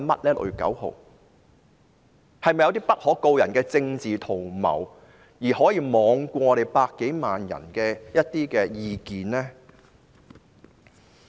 是否有些不可告人的政治圖謀，讓他們罔顧百多萬人的意見？